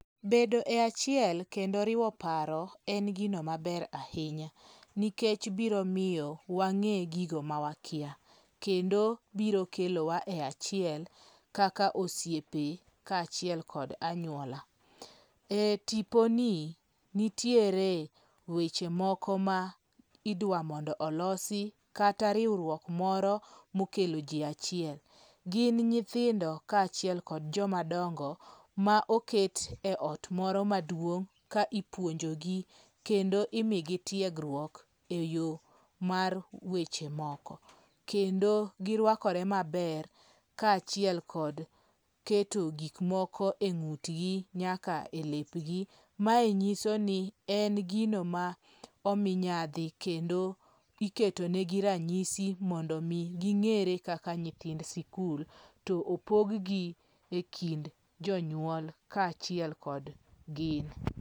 Bedo e achiel kendo riwo paro en gino maber ahinya. Nikech biro miyo wang'e gigo ma wakia. Kendo biro kelo wa e achiel kaka osiepe ka achiel kod anyuola. E tipo ni, nitiere weche moko ma idwa mondo olosi kata riwruok moro mokelo ji achiel. Gin nyithindo ka achiel kod jomadongo ma oket e ot moro maduong' ka ipuonjo gi kendo imigi tiegruok eyo mar weche moko. Kendo girwakore maber ka achiel kod keto gik moko e ng'utgi nyaka e lepgi. Mae nyiso ni en gino ma omi nyadhi kendo iketonegi ranyisi mondo mi ging'ere kaka nyithind sikul to opog gi e kind jonyuol ka achiel kod gin.